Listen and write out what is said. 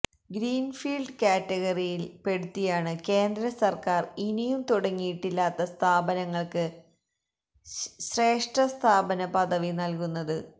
greenfield കാറ്റഗറിയിൽ പെടുത്തിയാാണ് കേന്ദ്ര സർക്കാർ ഇനിയും തുടങ്ങിയിട്ടില്ലാത്ത സ്ഥാപനങ്ങൾക്ക് ശ്രേഷ്ഠസ്ഥാപന പദവി നൽകുന്നത്